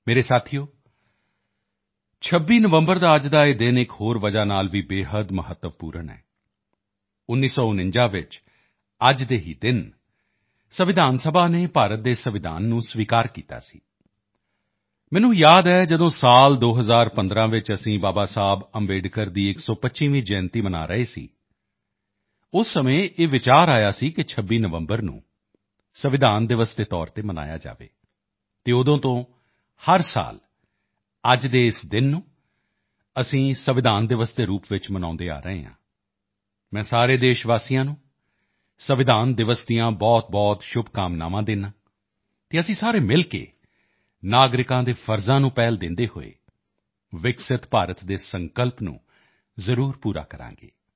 ਮੇਰੇ ਪਰਿਵਾਰਜਨੋਂ 26 ਨਵੰਬਰ ਦਾ ਅੱਜ ਦਾ ਇਹ ਦਿਨ ਇੱਕ ਹੋਰ ਵਜ੍ਹਾ ਨਾਲ ਭੀ ਅਤਿਅੰਤ ਮਹੱਤਵਪੂਰਨ ਹੈ 1949 ਵਿੱਚ ਅੱਜ ਹੀ ਦੇ ਦਿਨ ਸੰਵਿਧਾਨ ਸਭਾ ਨੇ ਭਾਰਤ ਦੇ ਸੰਵਿਧਾਨ ਨੂੰ ਸਵੀਕਾਰ ਕੀਤਾ ਸੀ ਮੈਨੂੰ ਯਾਦ ਹੈ ਜਦੋਂ ਸਾਲ 2015 ਵਿੱਚ ਅਸੀਂ ਬਾਬਾ ਸਾਹੇਬ ਅੰਬੇਡਕਰ ਦੀ 125ਵੀਂ ਜਨਮ ਜਯੰਤੀ ਮਨਾ ਰਹੇ ਸੀ ਉਸੇ ਸਮੇਂ ਇਹ ਵਿਚਾਰ ਆਇਆ ਸੀ ਕਿ 26 ਨਵੰਬਰ ਨੂੰ ਸੰਵਿਧਾਨ ਦਿਵਸ ਦੇ ਤੌਰ ਤੇ ਮਨਾਇਆ ਜਾਵੇ ਅਤੇ ਉਦੋਂ ਤੋਂ ਹਰ ਸਾਲ ਅੱਜ ਦੇ ਇਸ ਦਿਨ ਨੂੰ ਅਸੀਂ ਸੰਵਿਧਾਨ ਦਿਵਸ ਦੇ ਰੂਪ ਵਿੱਚ ਮਨਾਉਂਦੇ ਆ ਰਹੇ ਹਾਂ ਮੈਂ ਸਾਰੇ ਦੇਸ਼ਵਾਸੀਆਂ ਨੂੰ ਸੰਵਿਧਾਨ ਦਿਵਸ ਦੀਆਂ ਬਹੁਤਬਹੁਤ ਸ਼ੁਭਕਾਮਨਾਵਾਂ ਦਿੰਦਾ ਹਾਂ ਅਤੇ ਅਸੀਂ ਸਾਰੇ ਮਿਲ ਕੇ ਨਾਗਰਿਕਾਂ ਦੇ ਕਰਤੱਵਾਂ ਨੂੰ ਪ੍ਰਾਥਮਿਕਤਾ ਦਿੰਦੇ ਹੋਏ ਵਿਕਸਿਤ ਭਾਰਤ ਦੇ ਸੰਕਲਪ ਨੂੰ ਜ਼ਰੂਰ ਪੂਰਾ ਕਰਾਂਗੇ